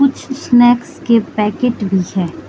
कुछ स्नैक्स के पैकेट भी है।